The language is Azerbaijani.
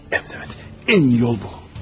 Ən, əlbəttə, ən iyi yol bu.